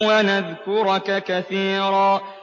وَنَذْكُرَكَ كَثِيرًا